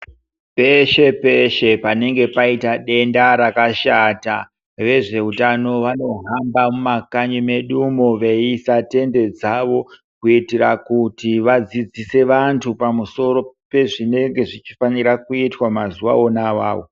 Peshe peshe panenge paita denda rakashata vezveutano vanohamba mumakanyi medu umo veiisa tende dzavo kuitira kuti vadzidzise vantu pamusoro pezvinenge zvechifanira kuitwa mazuwa ona awawo.